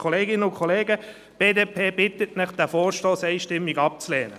Kolleginnen und Kollegen, die BDP bittet Sie, diesen Vorstoss einstimmig abzulehnen.